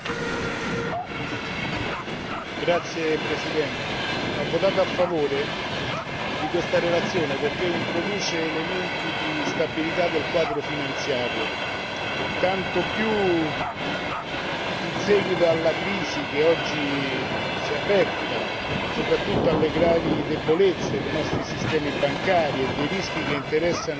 Signora Presidente, onorevoli colleghi, ho votato a favore di questa relazione perché introduce elementi di stabilità del quadro finanziario, tanto più in seguito alla crisi che oggi si è aperta, soprattutto alle gravi debolezze dei nostri sistemi bancari e dei rischi che interessano la tenuta